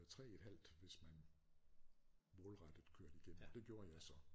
3 et halvt hvis man målrettet kørte igennem og det gjorde jeg så